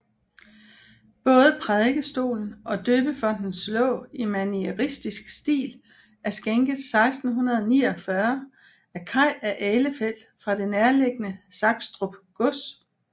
Både Prædikestolen og døbefontens låg i manieristisk stil er skænket 1649 af Kai af Ahlefeldt fra det nærliggende Sakstrup gods